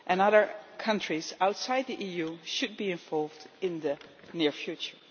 Other countries outside the EU should be involved in the near future.